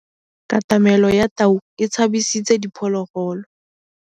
Katamêlô ya tau e tshabisitse diphôlôgôlô.